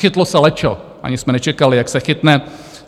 Chytlo se lečo, ani jsme nečekali, jak se chytne.